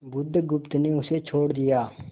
बुधगुप्त ने उसे छोड़ दिया